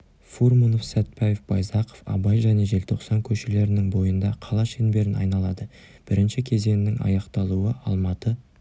фурманов сәтпаев байзақов абай және желтоқсан көшелерінің бойында қала шеңберін айналады бірінші кезеңнің аяқталуы алматы